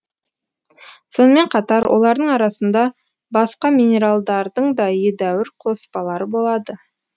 сонымен қатар олардың арасында басқа минералдардың да едәуір қоспалары болады